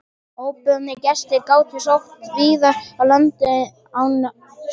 Óboðnir gestir gátu sótt víðar að landinu en á sjó.